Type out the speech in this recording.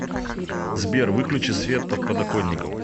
сбер выключи свет под подоконником